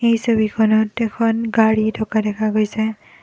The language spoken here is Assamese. এই ছবিখনত এখন গাড়ী থকা দেখা গৈছে।